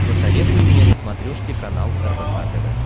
посоветуй мне на смотрешке канал рбк тв